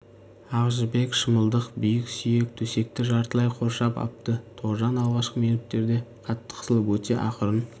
ақ жібек шымылдық биік сүйек төсекті жартылай қоршап апты тоғжан алғашқы минуттерде қатты қысылып өте ақырын